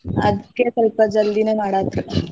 ಅದ್ಕೆ ಸ್ವಲ್ಪ ಜಲ್ದಿನೇ ಮಾಡಾತ್ರ್.